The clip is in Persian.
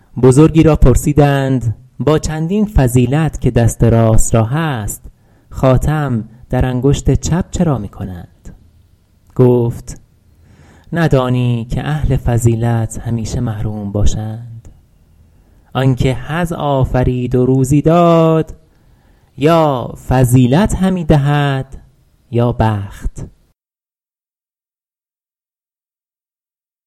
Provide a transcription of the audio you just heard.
بزرگی را پرسیدند با چندین فضیلت که دست راست را هست خاتم در انگشت چپ چرا می کنند گفت ندانی که اهل فضیلت همیشه محروم باشند آن که حظ آفرید و روزی داد یا فضیلت همی دهد یا بخت